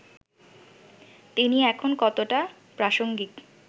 তিনি এখন কতটা প্রাসঙ্গিক